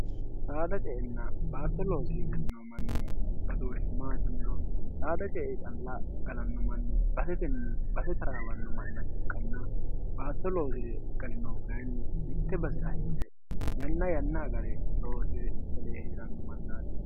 saada ce enna baatto loosire belno manni bodooshshimaatimiro saada ce e calla galanno manni basetinni base taraawanno manna ikqanno baatto loosire qalinohu tayinni nitte basi'ra heere yanna yanna agare doosire telee hee'ranno mannaati